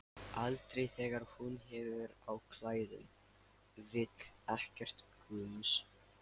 Aldrei þegar hún hefur á klæðum, vill ekkert gums.